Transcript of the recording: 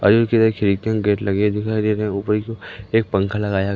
अलग खिड़की और गेट लगे दिखाई दे रहे है ऊपर की ओर एक पंखा लगाया--